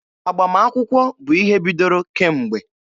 Agbamakwụkwọ bụ ihe bidoro kemgbe.